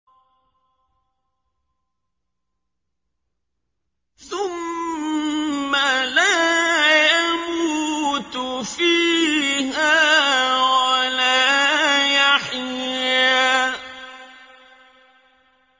ثُمَّ لَا يَمُوتُ فِيهَا وَلَا يَحْيَىٰ